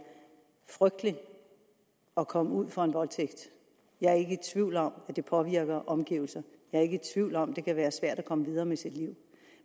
frygteligt at komme ud for en voldtægt jeg er ikke i tvivl om at det påvirker omgivelserne jeg er ikke i tvivl om at det kan være svært at komme videre med sit liv